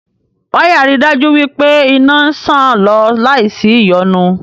Wáyà ri dájú wí pé iná ń ṣàn lọ láì sí ìyọnu